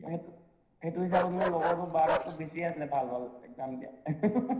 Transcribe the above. সেইটো সেইটো হিচাপত মোৰ লগৰটোৰ বাৰটাত্কৈ বেছি আছিলে ভাল ভাল exam দিয়া